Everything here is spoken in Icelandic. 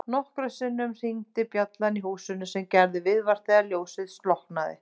Og nokkrum sinnum hringdi bjallan í húsinu sem gerði viðvart þegar ljósið slokknaði.